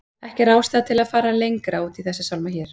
Ekki er ástæða til að fara lengra út í þessa sálma hér.